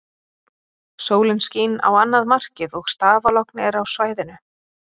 Sólin skín á annað markið og stafalogn er á svæðinu.